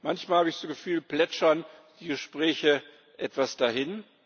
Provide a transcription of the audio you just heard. Manchmal, habe ich das Gefühl, plätschern die Gespräche etwas dahin.